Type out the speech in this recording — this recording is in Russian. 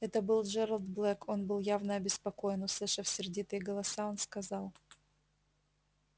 это был джералд блэк он был явно обеспокоен услышав сердитые голоса он сказал